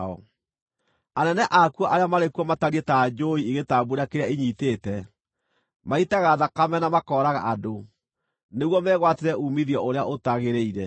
Anene akuo arĩa marĩ kuo matariĩ ta njũũi igĩtambuura kĩrĩa inyiitĩte; maitaga thakame na makooraga andũ, nĩguo megwatĩre uumithio ũrĩa ũtagĩrĩire.